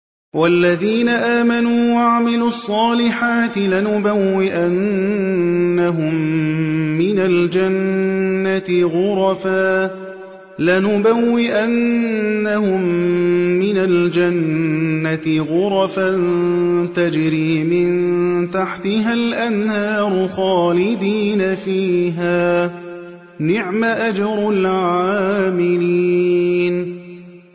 وَالَّذِينَ آمَنُوا وَعَمِلُوا الصَّالِحَاتِ لَنُبَوِّئَنَّهُم مِّنَ الْجَنَّةِ غُرَفًا تَجْرِي مِن تَحْتِهَا الْأَنْهَارُ خَالِدِينَ فِيهَا ۚ نِعْمَ أَجْرُ الْعَامِلِينَ